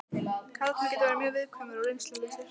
Karlmenn geta verið mjög viðkvæmir og reynslulausir.